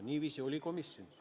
Niiviisi oli komisjonis.